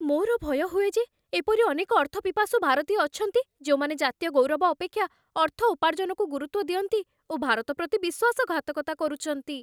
ମୋର ଭୟ ହୁଏ ଯେ ଏପରି ଅନେକ ଅର୍ଥପିପାସୁ ଭାରତୀୟ ଅଛନ୍ତି, ଯେଉଁମାନେ ଜାତୀୟ ଗୌରବ ଅପେକ୍ଷା ଅର୍ଥ ଉପାର୍ଜନକୁ ଗୁରୁତ୍ଵ ଦିଅନ୍ତି ଓ ଭାରତ ପ୍ରତି ବିଶ୍ଵାସଘାତକତା କରୁଛନ୍ତି।